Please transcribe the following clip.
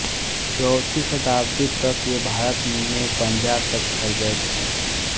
चौथी शताब्दी तक वे भारत में पंजाब तक फैल गए थे